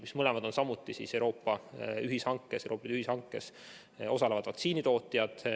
Need mõlemad on samuti Euroopa ühishankes osalevad vaktsiinitootjad.